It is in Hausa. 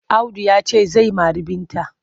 Audu ya ce zai mari Binta.